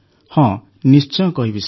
ହଁ ନିଶ୍ଚୟ କହିବି ସାର୍